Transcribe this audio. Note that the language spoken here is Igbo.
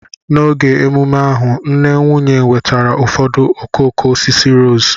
N'oge emume ahu, nne nwunye wetara ụfọdụ okooko osisi rose